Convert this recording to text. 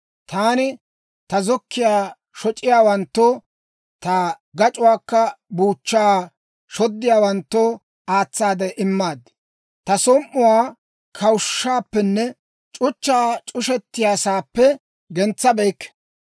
Taani ta zokkiyaa shoc'iyaawanttoo, ta gac'uwaa buuchchaa shoddiyaawanttoo aatsaade immaad. Ta som"uwaa kawushshaappenne c'uchchaa c'ushettiyaasaappe gentsabeykke.